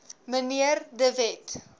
mnr de wet